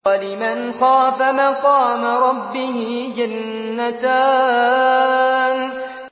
وَلِمَنْ خَافَ مَقَامَ رَبِّهِ جَنَّتَانِ